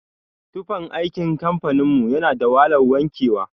Tufan aikin kamfanin mu yana da wahalan wanke wa.